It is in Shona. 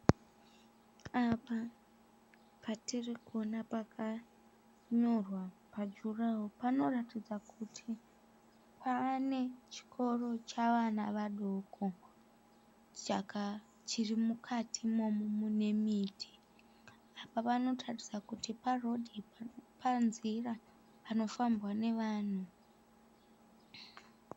Apa patirikuona pakanyorwa pajuraho panoratidza kuti pane chikoro chavana vadoko chirimukati imomo mune miti. Panoratidza kuti panzira panofambwa navanhu.